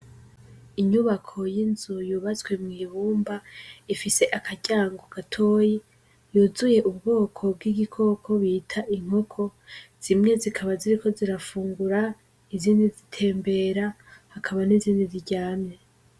Inyubako y'inzu yubatswe mw'ibumba, ifise akaryango gatoyi yuzuye ubwoko bw'igikoko bita inkoko, zimwe zikaba ziriko zirafungura, izindi zitembera, hakaba n'izindi ziryamye.